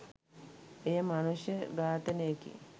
එය මනුෂ්‍ය ඝාතනයකි.